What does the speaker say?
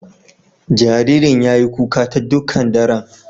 Jaririn ya yi kuka ta dukan daran.